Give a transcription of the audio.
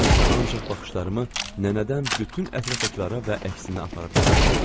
Mən isə ancaq baxışlarımı nənədən bütün ətrafdakılara və əksinə aparıb gətirirdim.